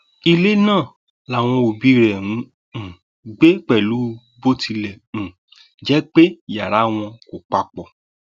ilé náà làwọn òbí rẹ ń um gbé pẹlú bó tilẹ um jẹ pé yàrá wọn kò papọ